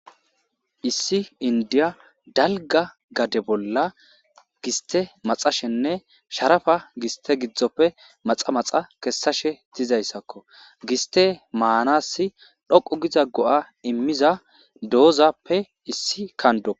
Issi indiya dalga gade bolla giste maxashenne sharafa giste gidzdzoppe maxa maxa kessashe dizayssakko giste maanassi dhoqu giza go'a immiza doozappe issi kando